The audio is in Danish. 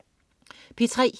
P3: